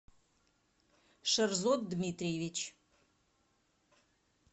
шерзод дмитриевич